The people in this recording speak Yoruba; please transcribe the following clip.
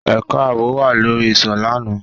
Ẹka aabo wa lori iṣọ làná